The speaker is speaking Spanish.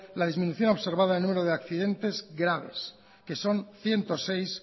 la disminución observada el número de accidentes graves que son ciento seis